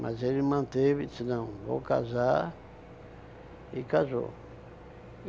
Mas ele manteve, disse não, vou casar e casou.